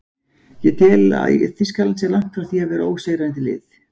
Ég tel að Þýskaland sé langt frá því að vera ósigrandi lið.